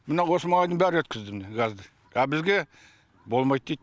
мына осы маңайдың бәрі өткізді міне газды а бізге болмайды дейді